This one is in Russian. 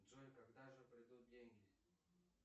джой когда же придут деньги